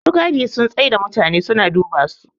masu gadi sum tsai da mutane suna duba su